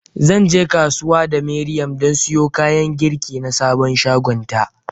Zan je kasuwa da Miriam don siyo kayan girki na sabon shagonta.